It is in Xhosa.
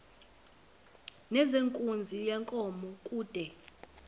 nezenkunzi yenkomo kude